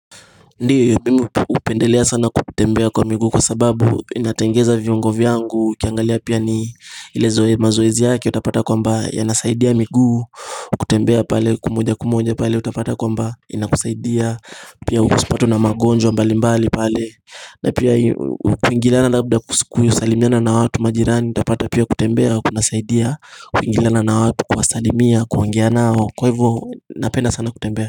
Ndio mimi hupendelea sana kutembea kwa miguu kwa sababu, inatengeza viungo vyangu ukiangalia pia ni ile mazoezi yake utapata kwamba yanasaidia miguu. Kutembea pale kwa moja kwa moja utapata kwamba inakusaidia. Pia usipatwe na magonjwa mbali mbali pale. Na pia kwingiliana labda kusalimiana na watu majirani. Utapata pia kutembea kunasaidia kuingiliana na watu, kuwasalimia, kuongea nao. Kwa hivo, napenda sana kutembea.